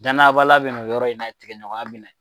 Danaya baliya bɛ na o yɔrɔ in na, tigɛɲɔgɔn na bi na yen.